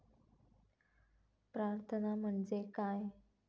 प्रार्थना म्हणजे काय?